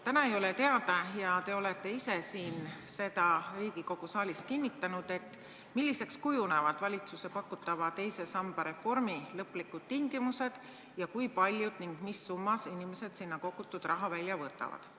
Täna ei ole teada – te olete ka ise seda Riigikogu saalis kinnitanud –, milliseks kujunevad valitsuse pakutava teise samba reformi lõplikud tingimused ja kui paljud inimesed ning mis summas sinna kogutud raha välja võtavad.